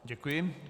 Děkuji.